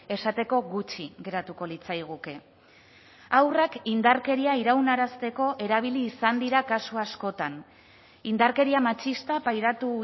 esateko gutxi geratuko litzaiguke haurrak indarkeria iraunarazteko erabili izan dira kasu askotan indarkeria matxista pairatu